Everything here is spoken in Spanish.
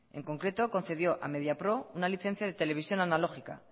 en concreto concedió a mediapro una licencia de televisión analógica